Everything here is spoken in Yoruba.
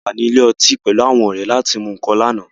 A wà ní ilé ọtí pẹ̀lú àwọn ọrẹ láti mú nǹkan lánàá